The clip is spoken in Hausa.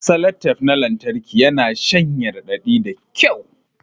Salatep na lantarki yana shanye raɗaɗi da kyau